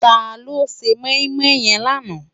Táló sé moimoi yèn làná?